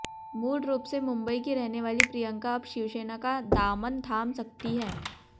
मूल रूप से मुंबई की रहने वाली प्रियंका अब शिवसेना का दामन थाम सकती हैं